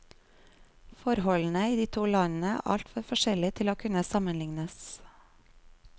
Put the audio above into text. Forholdene i de to landene er altfor forskjellige til å kunne sammenlignes.